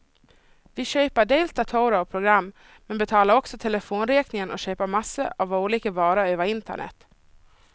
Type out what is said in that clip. Vi köper dels datorer och program, men betalar också telefonräkningen och köper massor av olika varor över internet.